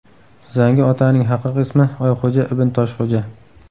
Zangi otaning haqiqiy ismi Oyxo‘ja Ibn Toshxo‘ja.